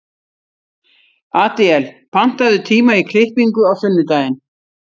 Adíel, pantaðu tíma í klippingu á sunnudaginn.